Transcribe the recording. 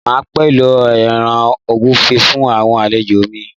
Máa pèlò ẹran ògúnfe fún àwọn àlejò mi